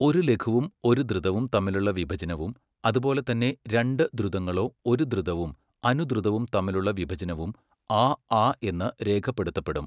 ഒരു ലഘുവും ഒരു ധൃതവും തമ്മിലുള്ള വിഭജനവും, അതുപോലെതന്നെ രണ്ട് ധ്രുതങ്ങളോ ഒരു ധൃതവും അനുധ്രുതവും തമ്മിലുള്ള വിഭജനവും 'ആ ആ ' എന്ന് രേഖപ്പെടുത്തപ്പെടും.